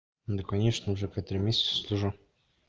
да конечно уже как три месяца слежу